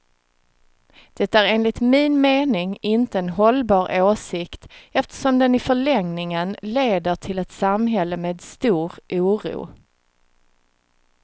Det är enligt min mening inte en hållbar åsikt, eftersom den i förlängningen leder till ett samhälle med stor oro.